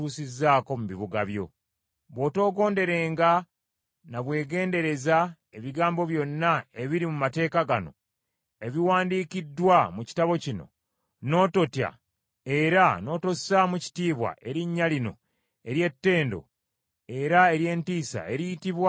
Bw’otoogonderenga na bwegendereza ebigambo byonna ebiri mu mateeka gano, ebiwandiikiddwa mu kitabo kino, n’ototya era n’otossaamu kitiibwa erinnya lino ery’ettendo era ery’entiisa, eriyitibwa: Mukama Katonda wo,